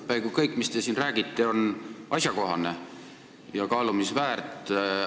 Peaaegu kõik, mis te siin räägite, on asjakohane ja kaalumist väärt.